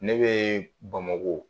Ne bɛ Bamakɔ